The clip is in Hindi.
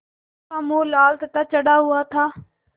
उसका मुँह लाल तथा चढ़ा हुआ था